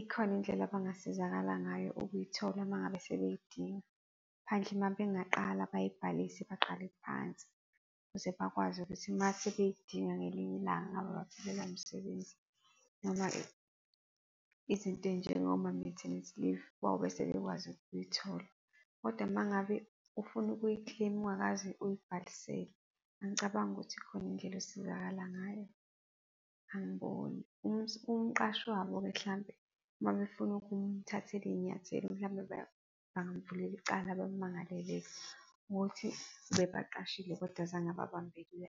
ikhona indlela abangasizakala ngayo ukuyithola uma ngabe sebeyidinga, phandle uma bengaqala bayibhalise, baqale phansi ukuze bakwazi ukuthi uma sebeyidinga ngelinye ilanga, baphelelwa umsebenzi noma izinto ezinjengo ma-maternity leave, bayobe sebekwazi ukuyithola. Kodwa uma ngabe ufuna ukuyi-claim-a ungakaze uyibhalisele, angicabangi ukuthi ikhona indlela osizakala ngayo, angiboni. Umqashi wabo-ke mhlampe uma befuna ukumthathela izinyathelo mhlampe, bangamvulela icala bamangalele ukuthi ubebaqashile kodwa azange ebabambele .